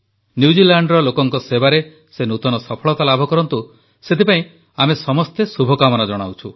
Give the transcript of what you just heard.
ନ୍ୟୁଜିଲାଣ୍ଡର ଲୋକଙ୍କ ସେବାରେ ସେ ନୂତନ ସଫଳତା ଲାଭ କରନ୍ତୁ ସେଥିପାଇଁ ଆମେ ସମସ୍ତେ କାମନା କରୁଛୁ